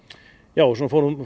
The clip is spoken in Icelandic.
já við fórum